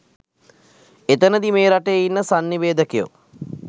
එතනදි මේ රටේ ඉන්න සංනිවේදකයෝ